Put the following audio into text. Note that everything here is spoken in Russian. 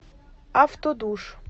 автодуш